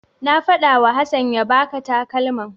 Na faɗawa Hassan ya baka takalman.